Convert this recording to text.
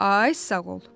Ay sağ ol!